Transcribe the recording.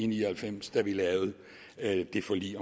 ni og halvfems da vi lavede det forlig